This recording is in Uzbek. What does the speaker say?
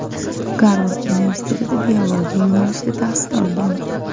Garvard universitetida biologiya yo‘nalishida tahsil olgan.